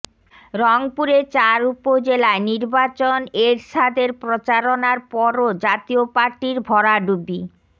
রংপুরে চার উপজেলায় নির্বাচন এরশাদের প্রচারণার পরও জাতীয় পার্টির ভরাডুবি